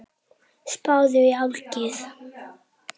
Spáðu í álagið.